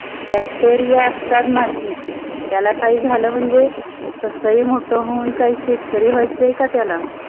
bactiria असतात मातीत, त्याला काही झाल म्हणजे. तसई मोठ होऊन काई शेतकरी वह्याच आहे का त्याला?